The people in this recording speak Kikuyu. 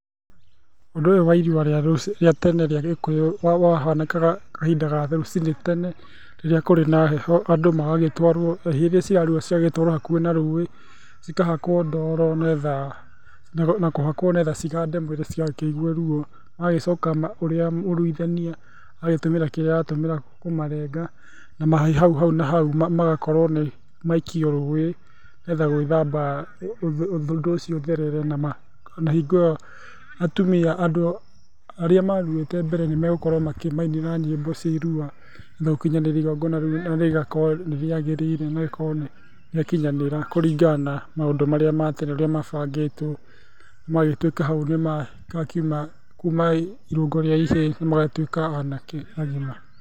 Ũndũ ũyũ wa ĩrua rĩa tene rĩa Gĩkũyũ wa hanĩkaga kahinda ga rũcinĩ tene, rĩrĩa kũrĩ na heho ,ĩhiĩ ĩria cirarua ĩgatwarwo hakuhĩ na rũĩ, cikahakwo ndoro nĩgetha cigande mwĩrĩ citigakĩigue ruo. Mũruithania agagĩcoka agatũmĩra kĩrĩa aratũmĩra kũmarenga na hau na hau magagĩkorwo nĩ maikio rũĩ nĩgetha gwĩthamba ũndũ ũcio ũtherere na maaĩ, na hingo ĩyo atumĩa, andũ arĩa maruĩte mbere nĩmegũkorwo makĩmainĩra nyĩmbo cia ĩrua gũkinyanĩria ĩgongona rĩu na rĩgakorwo nĩrĩagĩrĩire na rĩgakorwo nĩ rĩakinyanĩra, kũringana na maũndũ marĩa ma tene ũrĩa mabangĩtwo, magagĩtuĩka hau nĩ makiuma kuma ĩrũngo rĩa ihiĩ magatuĩka anake agima.